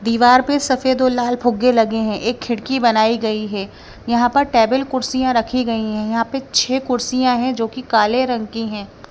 दीवार पर सफेद और लाल फुग्गे लगे हैं एक खिड़की बनाई गई है यहां पर टेबल कुर्सियां रखी गई हैं यहां पे छह कुर्सियां हैं जो कि काले रंग की हैं।